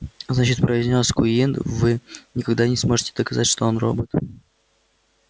значит произнёс куинн вы никогда не сможете доказать что он робот